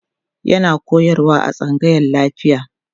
yana koyarwa a tsangayan lafiya